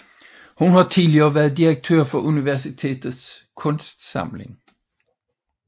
Hun har tidligere været direktør for universitetets kunstsamling